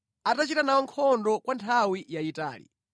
atachita nawo nkhondo kwa nthawi yayitali.